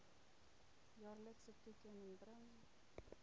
jaarlikse toekenning bring